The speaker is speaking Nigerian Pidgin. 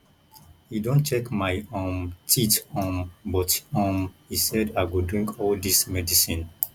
he don check my um teeth um but um he said i go drink all dis medicine